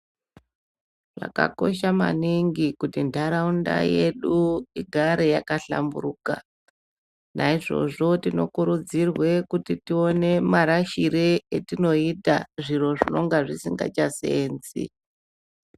Zvakakosha maningi kuti ntaraunda yedu igare yakahlamburuka. Naizvozvo tinokurudzirwe kuti tione marashire etinoita zviro zvinonga zvisingachaseenzi.